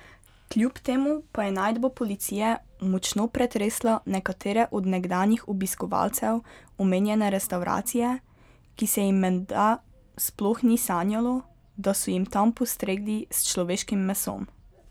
Kljub temu pa je najdba policije močno pretresla nekatere od nekdanjih obiskovalcev omenjene restavracije, ki se jim menda sploh ni sanjalo, da so jim tam postregli s človeškim mesom.